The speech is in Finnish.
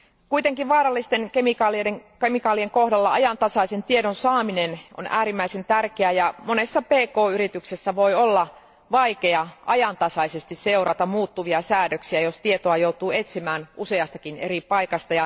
Kuitenkin vaarallisten kemikaalien kohdalla ajantasaisen tiedon saaminen on äärimmäisen tärkeää, ja monessa pk yrityksessä voi olla vaikea ajantasaisesti seurata muuttuvia säädöksiä, jos tietoa joutuu etsimään useastakin eri paikasta.